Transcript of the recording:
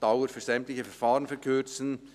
«Dauer für sämtliche Verfahren verkürzen».